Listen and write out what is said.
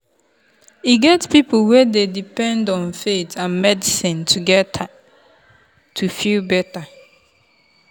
e get people wey dey depend on faith and medicine together to feel better.